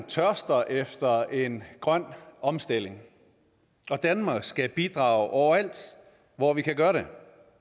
tørster efter en grøn omstilling og danmark skal bidrage overalt hvor vi kan gøre det